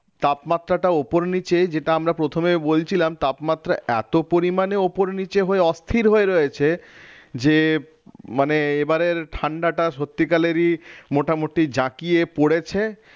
তাপমাত্রাটা ওপর নিচে যেটা আমরা প্রথমেই বলছিলাম তাপমাত্রা এত পরিমাণে ওপর নিচে হয়ে অস্থির হয়ে রয়েছে যে মানে এবারের ঠান্ডাটা সত্যিকালেরই মোটামুটি জাঁকিয়ে পড়েছে।